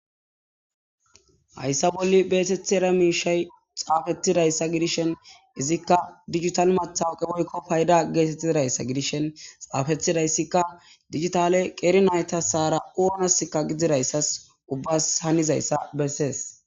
hayssa bolli beetethera miishay xaafetidayssa gidishen izikka dijital mathawoqe woykko payda geetettidayssa gidishen xaafetidayssikka digitale qeeri naytasaara oonaskka gididayssas ubbas hanizayssa bessees